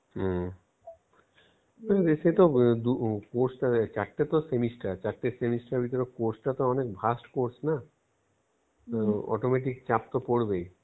হম সেতো দু~ corse দেখ চারটে তো semester চারটে semester ভিতরে course টা তো অনেক verse course না? autometic চাপ তো পরবেই